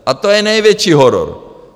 A to je největší horor!